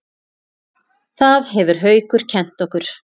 Það hefur Haukur kennt okkur.